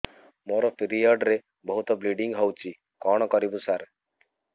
ମୋର ପିରିଅଡ଼ ରେ ବହୁତ ବ୍ଲିଡ଼ିଙ୍ଗ ହଉଚି କଣ କରିବୁ ସାର